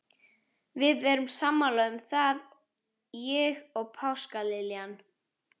Við erum sammála um það, ég og páskaliljan.